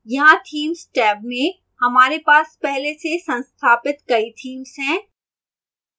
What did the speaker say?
यहाँ themes tab में हमारे पास पहले से संस्थापित कई themes हैं